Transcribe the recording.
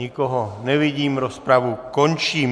Nikoho nevidím, rozpravu končím.